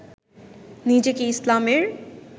নিজেকে ইসলামের